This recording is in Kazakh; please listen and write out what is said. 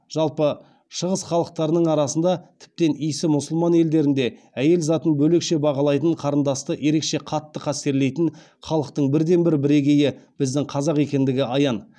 жалпы шығыс халықтарының арасында тіптен исі мұсылман елдерінде әйел затын бөлекше бағалайтын қарындасты ерекше қатты қастерлейтін халықтың бірі де бірегейі біздің қазақ екендігі аян